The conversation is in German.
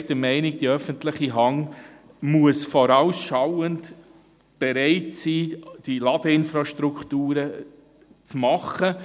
Wir sind der Meinung, die öffentliche Hand müsse vorausschauend und bereit sein, die Ladeinfrastrukturen bereitzustellen.